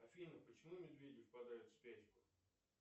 афина почему медведи впадают в спячку